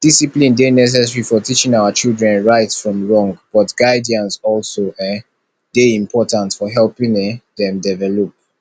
discipline dey necessary for teaching our children right from wrong but guidance also um dey important for helping um dem develop